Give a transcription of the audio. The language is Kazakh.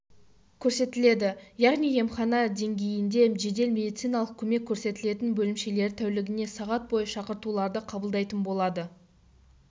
көрсетіледі яғни емхана деңгейінде жедел медициналық көмек көрсететін бөлімшелер тәулігіне сағат бойы шақыртуларды қабылдайтын болады